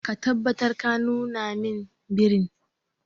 Ka tabbatar ka nuna min birin.